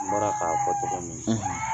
An bɔra k'a fɔ cɔgɔ min